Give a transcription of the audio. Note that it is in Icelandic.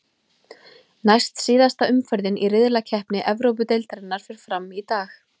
Næst síðasta umferðin í riðlakeppni Evrópudeildarinnar fer fram í dag.